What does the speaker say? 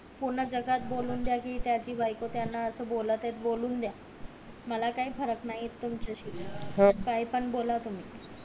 पूर्ण जगात बोलून द्या कि त्याची बायको त्याना असं बोलत आहे त बोलून द्या मला काही फरक नाही तुमच्या शी काय पण बोला तुम्ही